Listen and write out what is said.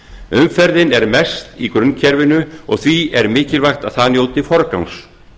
umferðin er mest í grunnkerfinu og því er mikilvægt að það njóti forgangs